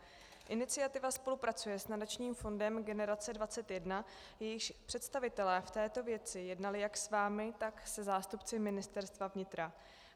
Iniciativa spolupracuje s Nadačním fondem Generace 21, jejíž představitelé v této věci jednali jak s vámi, tak se zástupci Ministerstva vnitra.